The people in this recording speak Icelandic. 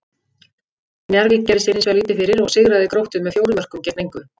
Njarðvík gerði sér hins vegar lítið fyrir og sigraði Gróttu með fjórum mörkum gegn engu.